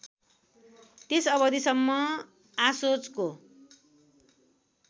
त्यस अवधिसम्म आशोचको